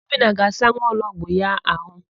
Obinna ga-asa nwaologbo ya àhụ́.